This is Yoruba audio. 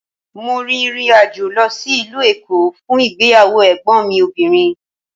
Mo rin ìrìnàjò lọ sí ìlú Èkó fún ìgbéyàwó Ègbón mi obìnrin